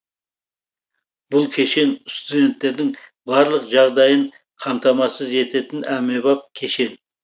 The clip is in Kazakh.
бұл кешен студенттердің барлық жағдайын қамтамасыз ететін әмбебап кешен